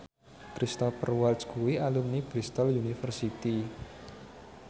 Cristhoper Waltz kuwi alumni Bristol university